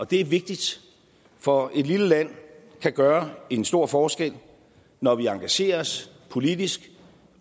det er vigtigt for et lille land kan gøre en stor forskel når vi engagerer os politisk